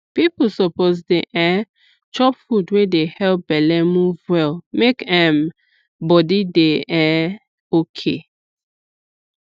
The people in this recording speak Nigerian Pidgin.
people suppose dey um chop food wey dey help belle move well make um body dey um okay